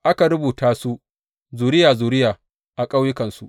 Aka rubuta su zuriya zuriya a ƙauyukansu.